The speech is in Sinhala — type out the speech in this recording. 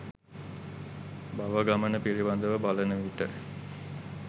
භව ගමන පිළිබඳව බලනවිට